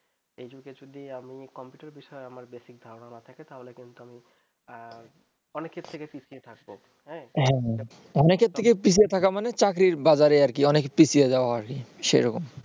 এ যুগে যদি আমি computer বিষয়ে আমার basic ধারণা না থাকে তাহলে কিন্তু আমি অনেকের থেকে পিছিয়ে থাকব হ্যাঁ অনেকের থেকে পিছিয়ে থাকা মানে চাকরির বাজারে আরকি অনেক পিছিয়ে যাওয়া সেরকম